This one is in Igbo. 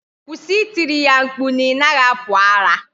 Kwụsị I tiri ya mkpu na ị naghị apụ ara